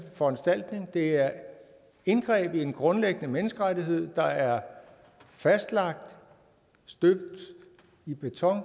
foranstaltning det er indgreb i en grundlæggende menneskerettighed der er fastlagt støbt i beton